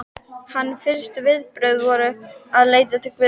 Hans fyrstu viðbrögð voru að leita til Guðs.